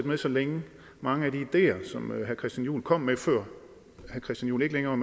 med så længe mange af de ideer som herre christian juhl kom med før herre christian juhl ikke længere